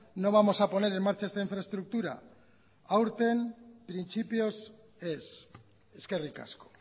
no vamos a poner en marcha esta infraestructura aurten printzipioz ez eskerrik asko